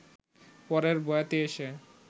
পরের বয়াতি এসে